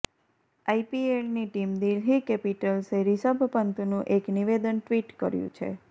આઈપીએલની ટીમ દિલ્હી કેપિટલ્સે રિષભ પંતનું એક નિવેદન ટ્વિટ કર્યું છે